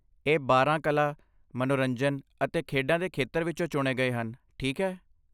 ਇਹ ਬਾਰਾਂ ਕਲਾ, ਮਨੋਰੰਜਨ ਅਤੇ ਖੇਡਾਂ ਦੇ ਖੇਤਰਾਂ ਵਿੱਚੋਂ ਚੁਣੇ ਗਏ ਹਨ, ਠੀਕ ਹੈ?